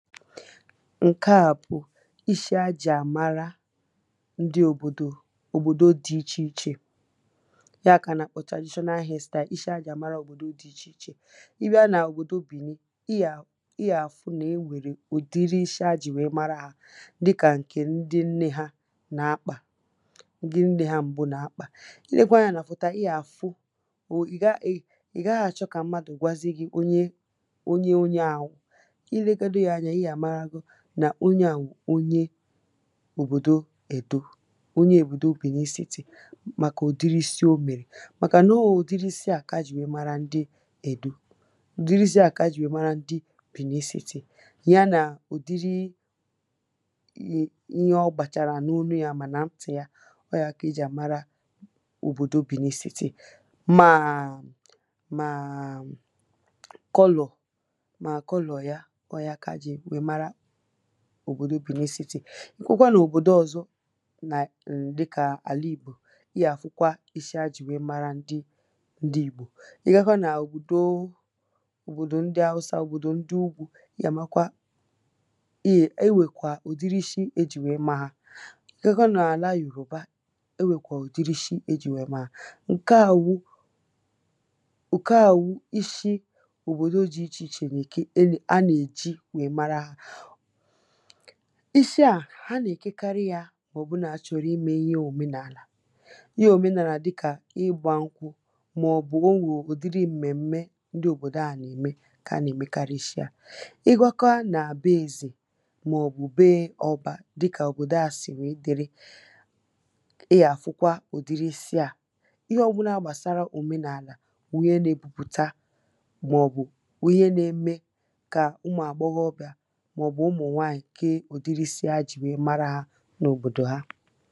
ǹke à bụ̀ ishi ha jì àmara ndị òbòdò, òbòdo dị̄ ichè ichè ya kà ha nà-àkpọ traditional hairstyle, ishi ha jì àmara òbòdo dị̄ ichè ichè ị bịa n’òbòdo Bèni ị gà-àfụ nà o nwèrè ụ̀dịrị ishī ha jì nwère mara hā dịkà ǹkè ndị nnē hā nà-akpà, ndị nnē hā m̀bụ nà-akpà i lekwa anyā nà fòto à ị gà ị gà-àfụ ị̀ gaghị̄ àchọ kà mmadụ̀ gwazi gị̄ onye onye ā bụ̀ i legodi yā ānyā ị gà-àmarago nà onye à wụ̀ onye òbòdo Èdó onye òbòdò Bèni sītì màkà ụ̀dịrị isi o mèrè màkànà ọ wụ̀ ụ̀dịrị isi à kà ha jì nwère mara ndị Èdo ụ̀dịrị isi à kà ha jì nwère mara ndị Bèni sītì ya nà ụ̀dịrị ihe ọ gbàchàrà n’onu yā mà nà ntị̀ ya ọ wụ̀ ya kà ha jì àmara òbòdo Bèni sītì mà mà colour mà colour ya ọ wụ̀ ya kà ha jì nwère mara òbòdo Bèni sītì ị kụba n'òbòdo ọ̄zọ̄ nà dịkà àla ìgbò ị gà-àfụkwa ishi ha jì nwère mara ndị ìgbò ị gakwa n’òbòdò ndị hausa òbòdò ndị ugwū, ị gà-àmakwa ị yè o nwèkwà ụ̀dịrị ishī ha jì nwère ma hā ị gakwa n’àla yòrùba, enwèkwà ụ̀dịrị ishī ha ejì nwèe maa hā ǹke à wụ ǹke à wụ ishi òbòdo dị̄ ichè ichè nà-èke a nà-èji nwère mara hā ishi à ha nà-èkekarị yā mà ọ bụrụ nà ha chọ̀rọ̀ imē ihe òmenàlà ihe òmenàlà dịkà ịgbā n̄kwụ̄ màọ̀bụ̀ o nwè ụ̀dịrị m̀mèm̀me ndị òbòdo à nà-ème kà ha nà-èmekarị ishi à ị gakwa nà beē ezè màọ̀bụ̀ beē ọ̄bā dịkà òbòdo ā sì nwère dịrị ị gà-àfụkwa ụ̀dịrị isi à ihe ọ̄bụ̄là gbàsara òmenàlà wụ̀ ihe nā-ebupùta màọ̀bụ̀ ihe nā-ēmē kà ụmụ̀ àgbọghọbịà màọ̀bụ̀ ụmụ̀nwaànyị̀ kee ụ̀dịrị isī hà jì nwère mara hā n’òbòdò ha